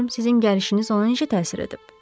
Görüm sizin gəlişiniz ona necə təsir edib.